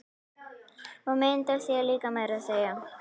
Og mynd af sér líka meira að segja.